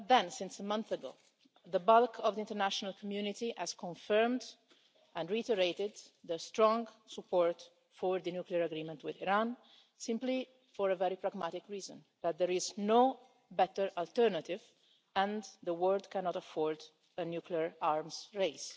Since a month ago, the bulk of the international community has confirmed and reiterated the strong support for the nuclear agreement with Iran, simply for a very pragmatic reason that there is no better alternative and the world cannot afford a nuclear arms race.